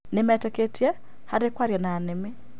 Nĩmetĩkĩtie harĩ kwaria na nĩmĩ